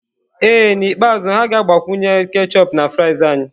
Ee N'ikpeazụ, ha ga-agbakwunye ketchup na fries anyị.